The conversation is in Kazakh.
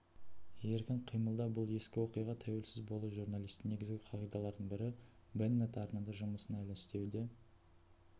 еркін қимылда бұл ескі оқиға тәуелсіз болу журналистің негізгі қағидаларының бірі беннет арнада жұмысын әлі істеуде